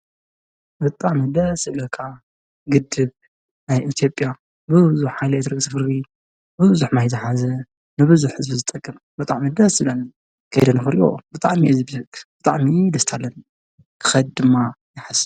ብጣዕሚ ደስ ዝብለካ ግድብ ናይ ኢትዮጵያ ብዙሕ ሓይሊ ኤለክትሪክ ዘፍሪ ብዙሕ ማይ ዝሓዘ ንብዙሕ ሰብ ዝጠቅም ብጣዕሚ ደስ ዝብል ከይደ ንኽሪኦ ብጣዕሚ እየ ዝብህግ፡፡ ብጣዕሚ ደስታ ኣለኒ፡፡ ክኸይድ ድማ ይሓስብ።